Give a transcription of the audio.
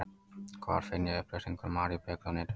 Hvar finn ég upplýsingar um maríubjöllu á netinu?